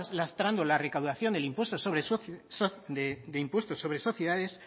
lastrando la recaudación del impuesto sobre sociedades